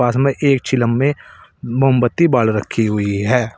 पास में एक चिलम में मोमबत्ती बाल रखी हुई है।